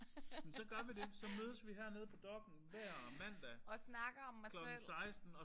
Men så gør vi det. Så mødes vi hernede på Dokk1 hver mandag klokken 16